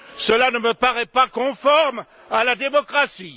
Cela ne me paraît pas conforme à la démocratie.